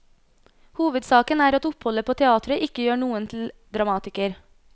Hovedsaken er at oppholdet på teatret ikke gjør noen til dramatiker.